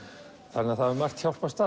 þannig að það hefur margt hjálpast